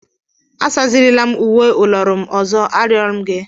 Asazirila m uwe ụlọọrụ m ọzọ, arịọ m gị!